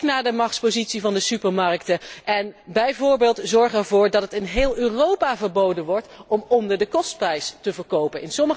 Kijk naar de machtspositie van de supermarkten en zorg er bijvoorbeeld voor dat het in heel Europa verboden wordt om onder de kostprijs te verkopen.